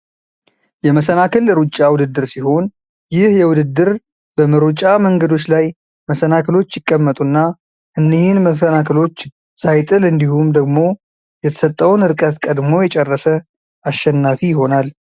የመሰናክል ሩጫ ውድድር ሲሆን ይህ የውድድር በመሮጫ መንገዶች ላይ መሰናክሎች ይቀመጡና እንሂን መሰናክሎች ሳይጥል እንዲሁም ደግሞ የተሰጠውን ርቀት ቀድሞ የጨረሰ አሸናፊ ይሆናል።